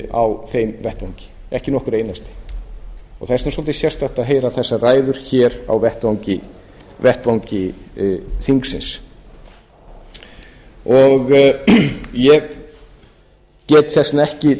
á þeim vettvangi ekki nokkur einasti það er svolítið sérstakt að heyra þessar ræður hér á vettvangi þingsins ég get þess vegna ekki